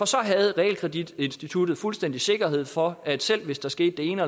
så havde realkreditinstituttet fuldstændig sikkerhed for at selv hvis der skete det ene